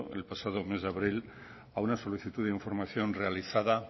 el pasado mes de abril a una solicitud de información realizada